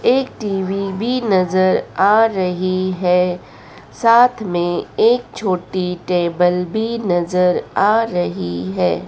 एक टी_वी भी नजर आ रही है साथ में एक छोटी टेबल भी नजर आ रही है।